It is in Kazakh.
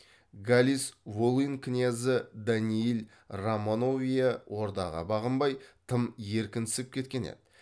галиц волынь кінязі даниил романовия ордаға бағынбай тым еркінсіп кеткен еді